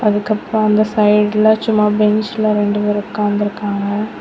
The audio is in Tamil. இதுக்கப்ப அந்த சைடுல சும்மா பென்ச் ரெண்டு வேர் உக்காந்ருக்காங்க.